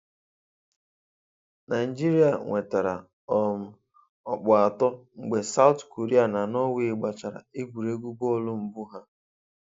Naijiria nwetara um ọkpụ atọ mgbe Saụt Koria na Norway gbachara egwuregwu bọọlụ mbụ ha